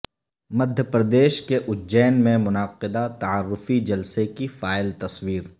مدھیہ پردیش کے اجین میں منعقدہ تعارفی جلسہ کی فائل تصویر